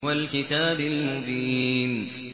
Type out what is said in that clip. وَالْكِتَابِ الْمُبِينِ